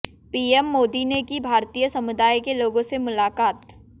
PM Modi ने की भारतीय समुदाय के लोगों से मुलाकात